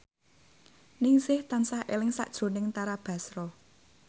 Ningsih tansah eling sakjroning Tara Basro